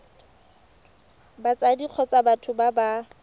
batsadi kgotsa batho ba ba